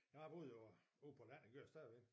Jeg har boet jo øh ude på landet det gør jeg stadigvæk